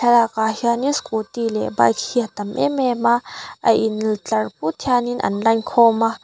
park ah hianin scooty leh bike hi a tam êm êm a a intlar pût hianin an line khâwm a.